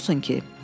Nə olsun ki?